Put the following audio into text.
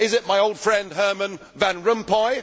Is it my old friend, Herman Van Rompuy?